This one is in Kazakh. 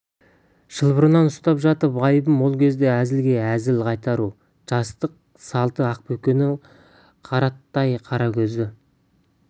шылбырынан ұстап жатып айыбым ол кезде әзілге әзіл қайтару жастық салты ақбөкеннің қарақаттай қара көзі